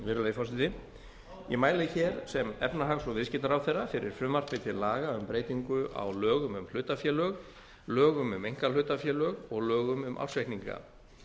virðulegi forseti ég mæli hér sem efnahags og viðskiptaráðherra fyrir frumvarpi til laga um breytingu á lögum um hlutafélög lögum um einkahlutafélög og lögum um ársreikninga